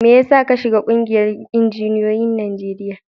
Mai yasa ka shiga ƙungiyar injiniyoyin Najeriya?